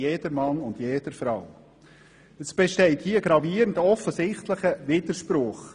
Es besteht hier ein offensichtlicher und gravierender Widerspruch.